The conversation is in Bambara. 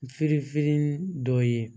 Firinfirin dɔ ye